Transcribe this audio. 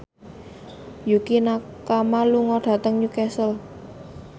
Yukie Nakama lunga dhateng Newcastle